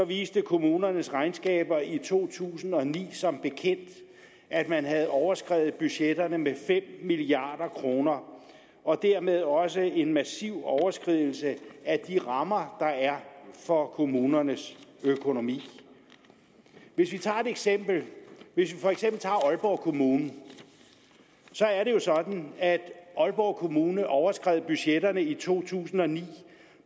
viste kommunernes regnskaber i to tusind og ni som bekendt at man havde overskredet budgetterne med fem milliard kroner og dermed også en massiv overskridelse af de rammer der er for kommunernes økonomi hvis vi tager et eksempel aalborg kommune så er det sådan at aalborg kommune overskred budgetterne i to tusind og ni